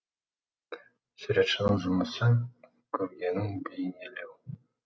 суретшінің жұмысы көргенін бейнелеу